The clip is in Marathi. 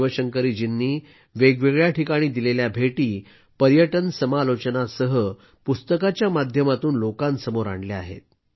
शिवशंकरीजींनी वेगवेगळ्या ठिकाणी दिलेल्या भेटी पर्यटन समालोचनासह पुस्तकाच्या माध्यमातून लोकांसमोर आणल्या आहेत